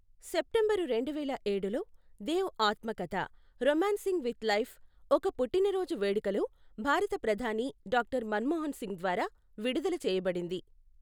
September రెండు వేల ఏడులో, దేవ్ ఆత్మకథ, రొమాన్సింగ్ విత్ లైఫ్, ఒక పుట్టినరోజు వేడుకలో భారత ప్రధాని డాక్టర్ మన్మోహన్ సింగ్ ద్వారా విడుదల చేయబడింది.